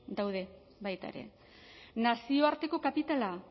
daude baita ere nazioarteko kapitala